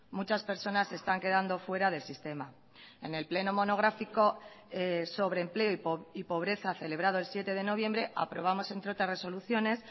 muchas personas se están quedando fuera del sistema en el pleno monográfico sobre empleo y pobreza celebrado el siete de noviembre aprobamos entre otras resoluciones